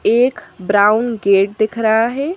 एक brown gate दिख रहा है।